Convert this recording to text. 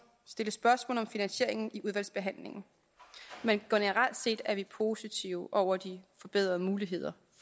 stille spørgsmål om finansieringen i udvalgsbehandlingen men generelt set er vi positive over de forbedrede muligheder